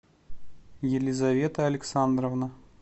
елизавета александровна